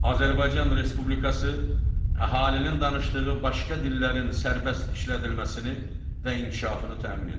Azərbaycan Respublikası əhalinin danışdığı başqa dillərin sərbəst işlədilməsini və inkişafını təmin edir.